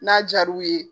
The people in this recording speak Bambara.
N'a jar'u ye